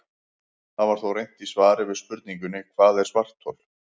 Það er þó reynt í svari við spurningunni Hvað er svarthol?